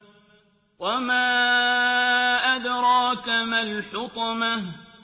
وَمَا أَدْرَاكَ مَا الْحُطَمَةُ